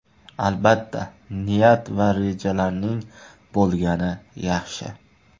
Albatta, niyat va rejalarning bo‘lgani yaxshi.